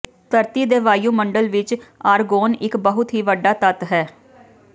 ਧਰਤੀ ਦੇ ਵਾਯੂਮੰਡਲ ਵਿਚ ਆਰਗੋਨ ਇਕ ਬਹੁਤ ਹੀ ਵੱਡਾ ਤੱਤ ਹੈ